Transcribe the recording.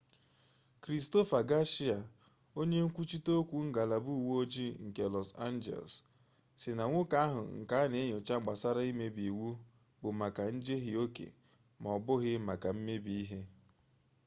kristofa gashia onye nkwuchite okwu ngalaba uwe ojii nke lọs anjeles sị na nwoke ahụ nke a na enyocha gbasara mmebi iwu bụ maka njehie oke m'ọbụghị maka mmebi ihe